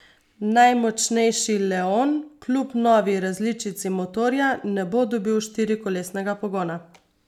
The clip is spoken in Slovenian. Najmočnejši leon kljub novi različici motorja ne bo dobil štirikolesnega pogona.